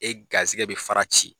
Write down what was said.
E garisɛgɛ bɛ fara ci